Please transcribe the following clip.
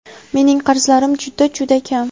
Mening qarzlarim juda, juda kam.